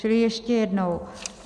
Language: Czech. Čili ještě jednou.